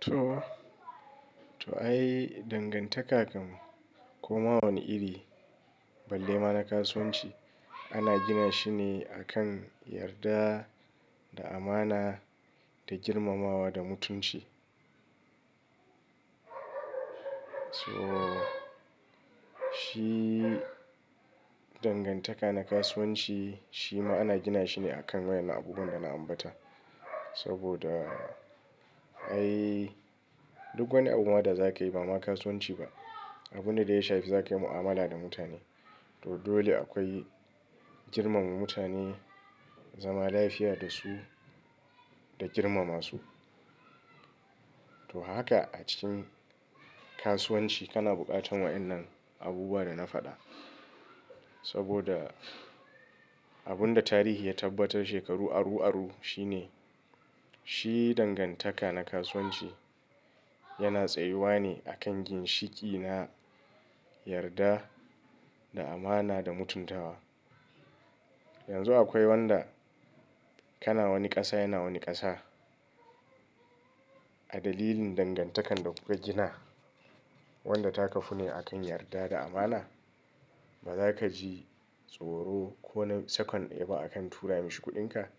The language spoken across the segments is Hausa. Toh, to ai dangantaka kam ko ma wani iri balle ma na kasuwanci ana gina shi ne akan yarda da amana da girmamawa da mutunci. Toh, shi dangantaka na kasuwanci shi ma ana gina shi ne akan wadannan abubuwan da na ambata. Saboda ai duk wani abu wanda za ka yi ba ma kasuwanci ba, abune da ya shafi za ka yi mu'amala da mutane. To dole akwai girmama mutane, zama lafiya da su da girmama su. Saboda ai duk wani abu ma da kayi ba ma kasuwanci ba, abune da ya shafi za ka yi mu'amala da mutane. Saboda abunda tarihi ya tabbatar shekaru aru-aru shine, shi dangantaka na kasuwanci yana tsayuwa ne akan ginshiki na yarda da amana da mutuntawa. Yanzu akwai wanda kana wani ƙasa yana wani ƙasa. A dalilin dangantakan da kuka gina wanda ta kafu ne akan yarda da amana. Ba za ka ji tsoro ko na sakon daya ba akan tura mishi kuɗinka.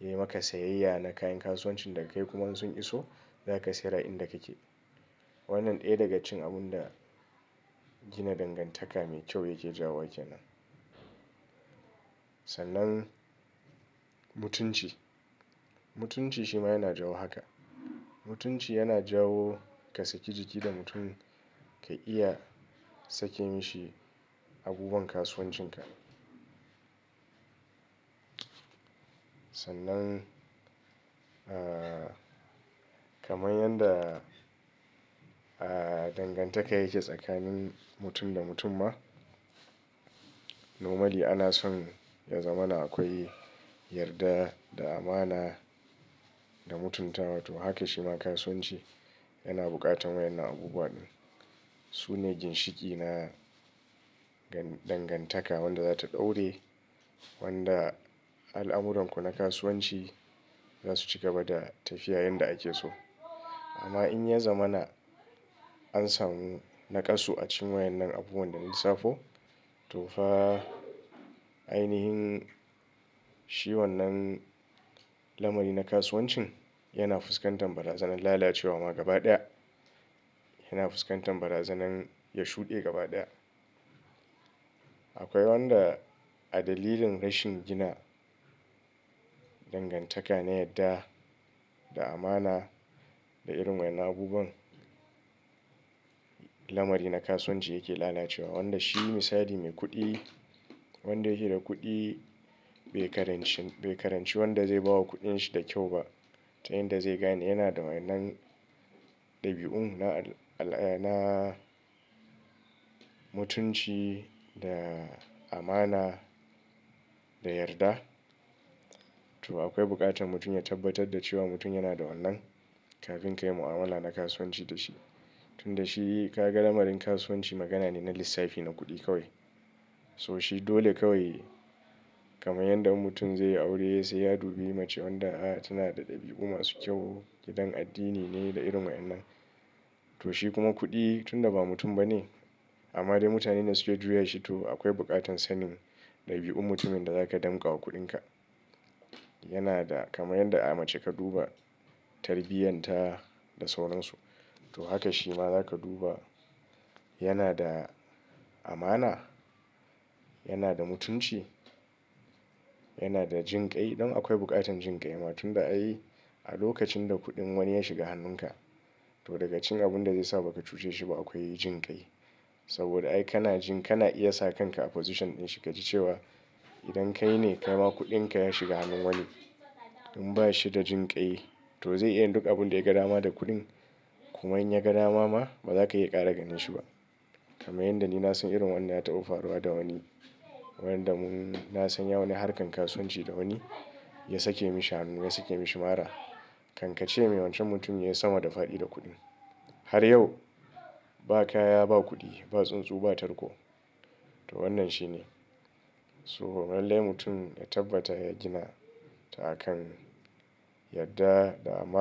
Yayi maka sayayya na kayan kasuwancin da ka yi kuma sun iso, za ka saya ra'in da kake. Wannan ɗaya daga cikin abun da gina dangantaka mai kyau yake jawo wa ke nan. Sannan mutunci, mutunci shi ma yana jawo haka. Mutunci yana jawo ka saki jiki da mutum, ka iya sake yi shi abubuwan kasuwancinka. Sannan, ah, kamar yanda, ah, dangantaka yake tsakanin mutum da mutum ma. Nomali ana son ya zama na akwai yarda da amana da mutuntawa. To haka shi ma kasuwanci yana buƙatan wayan nan abubuwa. Su ne ginshiki na gan-dangantaka wanda za ta ɗaure wanda al'amuranku na kasuwanci za su cigaba da tafiya yanda ake so. Amma in ya zama na an samu naƙasu a cikin wayan nan abubuwan da na lissafo, to fa ainihin shi wannan lamari na kasuwancin yana fuskantar barazanar lalacewa ma gaba ɗaya. Yana fuskantar barazanar ya shuɗe gaba ɗaya. Akwai wanda a dalilin rashin gina dangantaka na yarda da amana da irin wayan abubuwan, lamari na kasuwanci yake lalacewa. Wanda shi misali mai kuɗi, wanda yake da kuɗi bai karanci, bai karanci wanda zai bawo kuɗin shi da kyau ba. Ta yanda zai gane yana da wayan nan ɗabi'un na al'a, na mutunci da amana da yarda. To akwai buƙatan mutum ya tabbatar da cewa mutum yana da wannan kafin ka yi mu'amala na kasuwanci da shi. Tunda shi ka ga lamarin kasuwanci magana ne na lissafi na kuɗi kawai. So shi dole kawai kamar yanda in mutum zai yi aure sai ya dubi mace wanda, ah, tana da ɗabi'u masu kyau, gidan addini ne da irin wayan nan. To shi kuma kuɗi tunda ba mutum ba ne, amma dai mutane ne suke juya shi, to akwai buƙatan sanin ɗabi'un mutumin da zaka danƙawa kuɗinka. Yana da kamar yadda a mace ka duba tarbiyyar ta da sauransu. To haka shi ma za ka duba yana da amana? Yana da mutunci? Yana da jinƙai? Don akwai buƙatan jinƙai ma tunda ai a lokacin da kuɗin wani ya shiga hannunka, to daga cikin abun da zai sa ba ka cuce shi ba akwai jinƙai. Saboda ai kana jin kana iya sa kan ka a position din shi ka ji cewa idan kai ne kai ma kuɗin ka ya shiga hannun wani, in ba shi da jinƙai to zai iya yin duk abin da ya ga nama da kuɗin. Kuma in ya ga nama ma ba za ka iya ƙara ganin shi ba. Kamar yanda ni na san irin wanda ya taɓa faruwa da wani. Wayanda mun, na san yayi wani harkar kasuwanci da wani, ya sake yi shi hannun, ya sake yi shi mara. Kankance mai wancan mutumin ya yi sama da fa'iɗi da kuɗin. Har yau ba kaya, ba kuɗi, ba tsuntsu, ba tarko. To wannan shi ne. So lallai mutum ya tabbata ya gina ta akan yarda da ama.